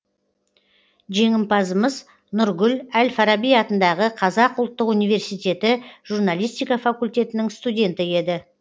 жеңімпазымыз нұргүл әл фараби атындағы қазақ ұлттық университеті журналистика факультетінің студенті еді